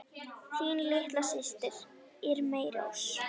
Þín litla systir, Irmý Rós.